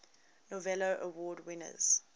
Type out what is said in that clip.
novello award winners